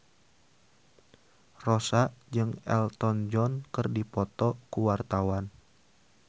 Rossa jeung Elton John keur dipoto ku wartawan